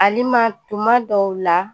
Alima tuma dɔw la